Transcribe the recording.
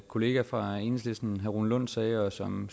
kollega fra enhedslisten rune lund sagde og som